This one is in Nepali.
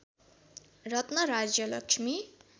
रत्न राज्य लक्ष्मी